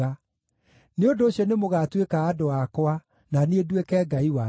‘Nĩ ũndũ ũcio nĩmũgatuĩka andũ akwa, na niĩ nduĩke Ngai wanyu.’ ”